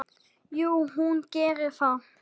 Jú, hún gerir það.